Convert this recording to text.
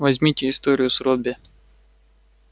возьмите историю с робби